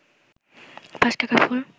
৫ টাকার ফুল